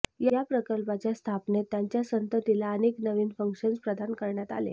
या प्रकल्पाच्या स्थापनेत त्यांच्या संततीला अनेक नवीन फंक्शन्स प्रदान करण्यात आले